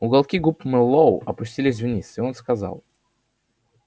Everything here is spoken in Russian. уголки губ мэллоу опустились вниз и он сказал